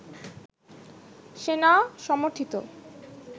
সেনা-সমর্থিত